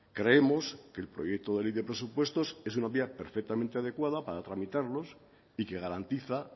creemos que el proyecto de ley de presupuestos es una vía perfectamente adecuada para tramitarlos y que garantiza